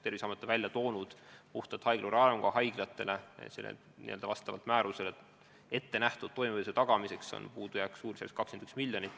Terviseamet on välja toonud, et haiglavõrgu haiglatel jääb vastavalt määrusele ettenähtud toimimise tagamiseks puudu suurusjärgus 21 miljonit eurot.